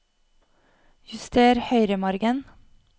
Juster høyremargen